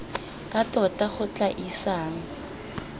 ka tota go tla isang